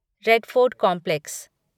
red Fort complex